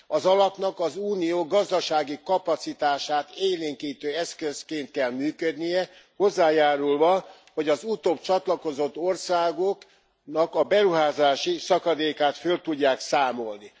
Az alapnak az Unió gazdasági kapacitását élénkítő eszközként kell működnie, hozzájárulva, hogy az utóbb csatlakozott országoknak a beruházási szakadékát föl tudják számolni.